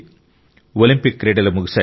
Olympic క్రీడలు ముగిశాయి